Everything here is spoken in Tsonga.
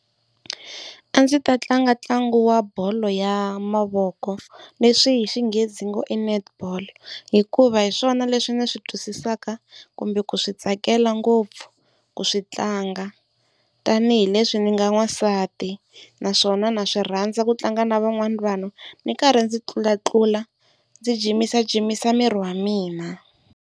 A ndzi ta tlanga ntlangu wa bolo ya mavoko leswi hi Xinghezi hi ngo Netball hikuva hi swona leswi ndzi swi twisisaka kumbe ku swi tsakela ngopfu ku swi tlanga tanihileswi ndzi nga n'wansati. Naswona na swi rhandza ku tlanga na van'wana vanhu ni karhi ndzi tlulatlula ndzi jimisajimisa miri wa mina.